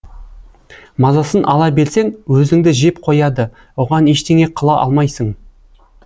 мазасын ала берсең өзіңді жеп қояды оған ештеңе қыла алмайсың